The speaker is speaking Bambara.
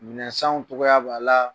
Minɛnsanw cogoya b'a la